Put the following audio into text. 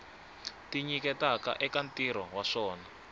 tinyiketaka eka ntirho wa swa